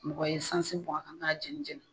Mɔgɔ ye sansin bɔn a kan ka n'a jɛni jɛni